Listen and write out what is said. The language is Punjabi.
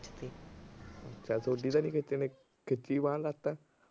ਚੱਲ ਥੋਡੀ ਤਾਂ ਨੀ ਖਿਚੀ ਕਿਸੇ ਨੇ ਬਾਂਹ ਲੱਤ।